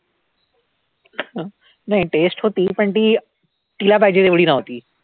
नाही taste होती पण ती तिला पाहिजे तेवढी नव्हती.